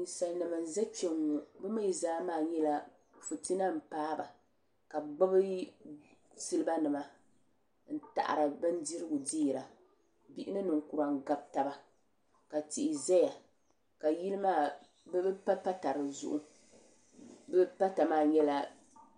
Ninsalinima n za kpenŋɔ bɛ mee zaa maa nyɛla fitina m paagi ba ka bɛ gbibi siliba nima n yaɣiri bindirigu deera bihi ni ninkura n gabi taba ka tihi zaya ka yili maa bɛ pa pata dizuɣu bɛ pata maa nyɛla